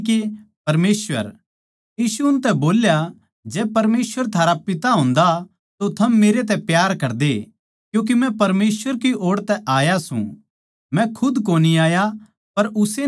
यीशु उनतै बोल्या जै परमेसवर थारा पिता होन्दा तो थम मेरै तै प्यार करदे क्यूँके मै परमेसवर की ओड़ तै आया सूं मै खुद कोनी आया पर उस्से नै मेरै ताहीं भेज्या